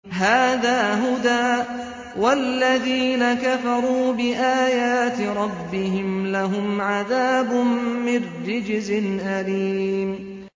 هَٰذَا هُدًى ۖ وَالَّذِينَ كَفَرُوا بِآيَاتِ رَبِّهِمْ لَهُمْ عَذَابٌ مِّن رِّجْزٍ أَلِيمٌ